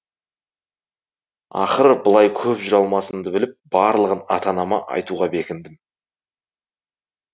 ақыры былай көп жүре алмасымды біліп барлығын ата анама айтуға бекіндім